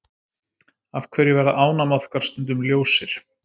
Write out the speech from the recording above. Af hverju verða ánamaðkar stundum ljósir?